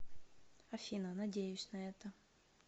афина надеюсь на это